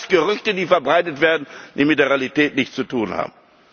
sein. Das sind alles Gerüchte, die verbreitet werden, die mit der Realität nichts zu tun